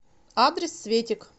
адрес светик